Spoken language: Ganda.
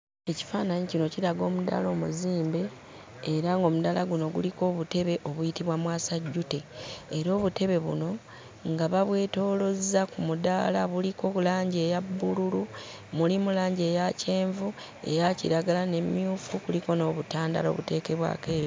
Ekifaananyi kino kiraga omudaala omuzimbe era ng'omudaala guno guliko obutebe obuyitibwa mwasajjute era obutebe buno nga babwetoolozza ku mudaala buliko langi eya bbululu, mulimu langi eya kyenvu, eya kiragala n'emmyufu kuliko n'obutandaalo obuteekebwako e...